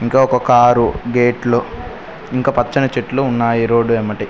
ఒక కారు గేట్లు ఇంకా పచ్చని చెట్లు ఉన్నాయి రోడ్ వెంబటి.